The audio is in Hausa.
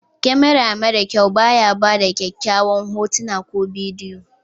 kamara mara kyau ba ya bada kyakyawan hotuna ko bidiyo